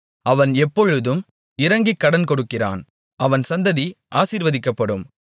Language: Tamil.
அவன் எப்பொழுதும் இரங்கிக் கடன் கொடுக்கிறான் அவன் சந்ததி ஆசீர்வதிக்கப்படும்